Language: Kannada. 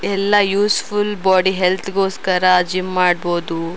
ಎಲ್ಲಾ ಯುಸ್ಫುಲ್ ಬ್ವೋಡಿ ಹೆಲ್ತ್ ಗೋಸ್ಕರ ಜಿಮ್ಮ್ ಮಾಡ್ಬಹುದು.